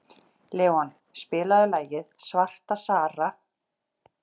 Leon, spilaðu lagið „Svarta Sara“.